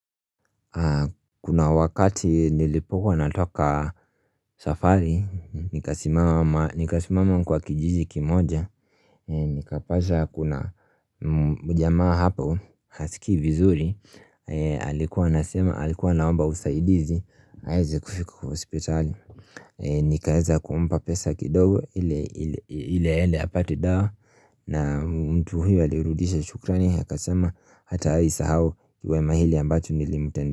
Kuna wakati nilipokuwa natoka safari, nikasimama nikasimama kwa kijiji kimoja Nikapaza kuna mujamaa hapo, hasikii vizuri, alikuwa anasema, alikuwa anaomba usaidizi, aweze kufika kwa hosipitali Nikaeza kuumpa pesa kidogo, ile ile aende apate dawa na mtu huyo alirudisha shukrani, aka sema hatai sahau wema hili ambacho nilimutende.